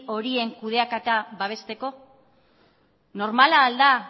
horien kudeaketa babesteko normala al da